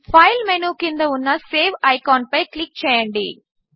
file menu క్రింద ఉన్న save ఐకాన్పై క్లిక్ చేయండి